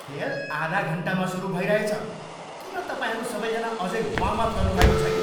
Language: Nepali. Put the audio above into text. खेल आधा घन्टामा सुरु भइरहेछ। किन तपाईँहरू सबैजना अझै वार्म अप गर्नुभएको छैन?